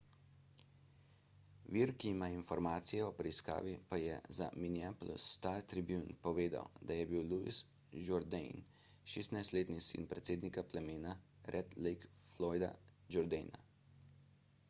vir ki ima informacije o preiskavi pa je za minneapolis star-tribune povedal da je bil louis jourdain 16-letni sin predsednika plemena red lake floyda jourdaina